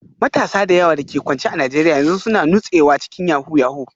Matasa da yawa da ke kwance a Najeriya yanzu suna nutsewa cikin yahoo yahoo